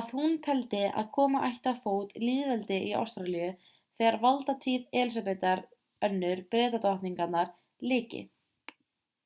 að hún teldi að koma ætti á fót lýðveldi í ástralíu þegar valdatíð elísabetar ii bretadrottningar lyki